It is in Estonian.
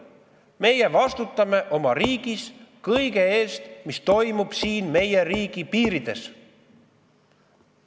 Meie vastutame oma riigis kõige eest, mis toimub meie riigi piirides.